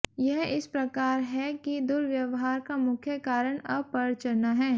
यह इस प्रकार है कि दुर्व्यवहार का मुख्य कारण अपरचना है